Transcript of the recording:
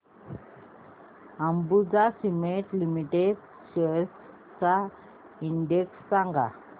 Ambuja Cement Limited shares चा index सांगा